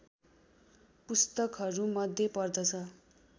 पुस्तकहरूमध्ये पर्दछ